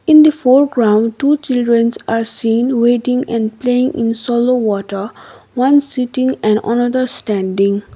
in the foreground two childrens are seen waiting and playing in solo water one sitting and another standing.